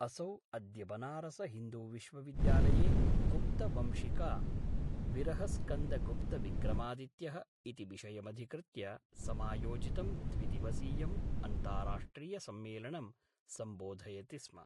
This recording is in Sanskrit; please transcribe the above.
असौ अद्य बनारस हिन्दू विश्वविद्यालये गुप्तवंशिका विरहस्कन्दगुप्तविक्रमादित्यः इति विषयमधिकृत्य समायोजितं द्विद्विवसीयम् अन्ताराष्ट्रियसम्मेलनं सम्बोधयति स्म।